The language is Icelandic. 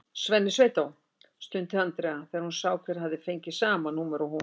Svenni sveitó! stundi Andrea þegar hún sá hver hafði fengið sama númer og hún.